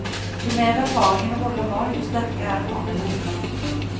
Jo mer erfaring en rolle har, jo sterkere er han eller hun.